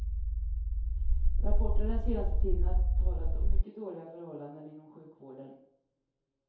Rapporter den senaste tiden har talat om mycket dåliga förhållanden inom sjukvården.